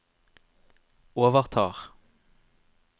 overtar